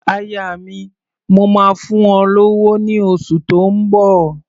Aya mi, mò máa fún ọ lówó ní oṣù tó ń bọ̀.